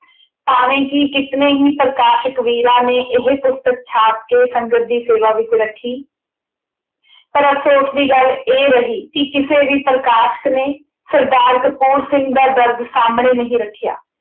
ਭਾਵੇਂ ਕੀ ਕਿਤਨੇ ਹੀ ਪ੍ਰਕਾਸ਼ਕ ਵੀਰਾਂ ਨੇੇ ਇਹ ਪੁਸਤਕ ਛਾਪ ਕੇ ਸੰਗਤ ਦੀ ਸੇਵਾ ਵਿੱਚ ਰੱਖੀ। ਪਰ ਅਫਸੋਸ ਦੀ ਗੱਲ ਇਹ ਰਹੀ ਕਿ ਕਿਸੇ ਵੀ ਪ੍ਰਕਾਸ਼ਕ ਨੇ ਸਰਦਾਰ ਕਪੂਰ ਸਿੰਘ ਦਾ ਦਰਦ ਸਾਹਮਣੇ ਨਹੀਂ ਰੱਖਿਆ।